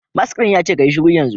Mask din yace kayi shiru yanzu